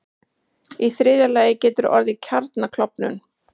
Í þriðja lagi getur orðið kjarnaklofnun.